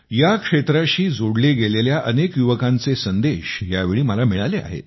या क्षेत्राशी जोडले गेलेल्या अनेक युवकांचे संदेश यावेळी मला मिळाले आहेत